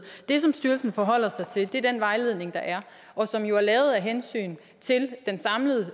det som styrelsen forholder sig til er den vejledning der er og som jo er lavet af hensyn til den samlede